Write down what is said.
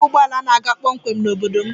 Enweghị ụgbọ ala na-aga kpọmkwem n'obodo m